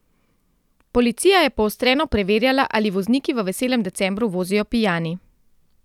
Policija je poostreno preverjala, ali vozniki v veselem decembru vozijo pijani.